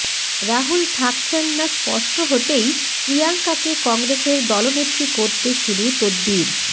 রাহুল থাকছেন না স্পষ্ট হতেই প্রিয়াঙ্কাকে কংগ্রেসের দলনেত্রী করতে শুরু তদ্বির